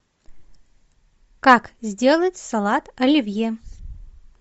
как сделать салат оливье